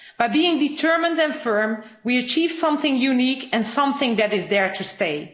Being determined and firm, we achieved something unique and something that is there to stay.